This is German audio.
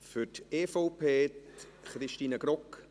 Für die EVP spricht Christine Grogg.